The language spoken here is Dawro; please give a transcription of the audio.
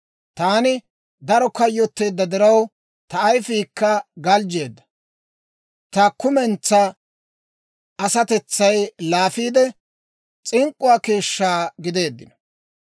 Taani daro kayyotteedda diraw, ta ayifiikka galjjeedda; ta kumentsaa asatetsay laafiidde, s'ink'k'uwaa keeshshaa gideeddino.